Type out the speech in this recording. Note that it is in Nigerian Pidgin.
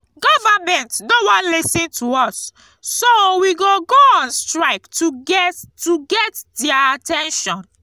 government no wan lis ten to us so we go go on strike to get to get their at ten tion